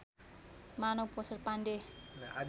मानौँ पोषण पाण्डे